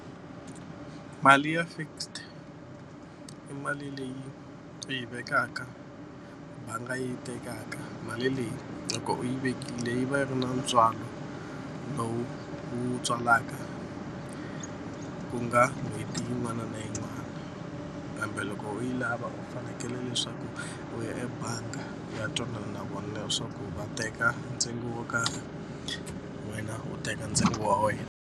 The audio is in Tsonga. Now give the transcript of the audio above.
Mali ya fixed i mali leyi u yi vekaka bangi yi tekaka mali leyi loko u yi vekile yi va yi ri na ntswalo lowu wu tswalaka ku nga n'hweti yin'wana na yin'wani kambe loko u yi lava u fanekele leswaku u ya ebangi u ya twanana nakona leswaku va teka ntsengo wo karhi wena u teka ntsengo wa wena.